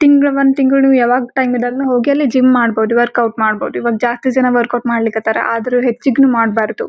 ತಿಂಗಳ್ ಒಂದ್ ತಿಂಗಳು ಯಾವಾಗ್ ಟೈಮ ಇದ್ದಗ್ನು ಹೋಗಿ ಅಲ್ಲಿ ಜಿಮ್ ಮಾಡಬಹುದು ವರ್ಕೌಟ್ ಮಾಡಬಹುದು ಈವಾಗ್ ಜಾಸ್ತಿ ಜನ ವರ್ಕೌಟ್ ಮಾಡ್ಲಿಕ್ ಹತಾರ ಆದ್ರೂ ಹೆಚ್ಚಿಗ್ನು ಮಾಡ್ಬಾರ್ದು.